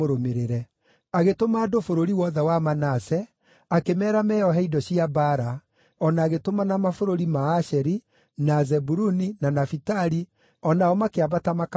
Agĩtũma andũ bũrũri wothe wa Manase, akĩmeera meeohe indo cia mbaara, o na agĩtũmana mabũrũri ma Asheri, na Zebuluni, na Nafitali, o nao makĩambata makamatũnge.